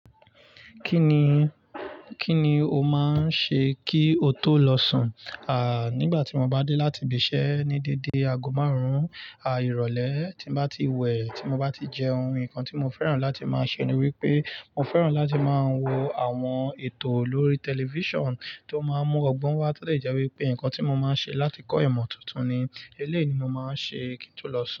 Kí ni, kí ni o máa ń ṣe kí o tó lọ sùn? À, nígbà tí mo bá dé láti ibiṣẹ́ ní dédé aago márùn-ún à ìrọ̀lẹ́ tí mo bá ti wẹ̀, tí mo bá ti jẹ ohun, nǹkan tí mo fẹ́ràn láti máa ṣe ni wípé mo fẹ́ràn láti máa wo àwọn ètò lórí tẹlifíṣàn tó máa ń mú ọgbọ́n wá to de je wípé ǹkan tí mo máa ń ṣe láti kọ́ ìmọ̀ tuntun ni. Eléèni mo máa ń ṣe kí n tó lọ sùn.